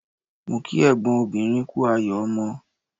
Mo kí ẹ̀gbọ́n obìnrin kú ayọ̀ ọmọ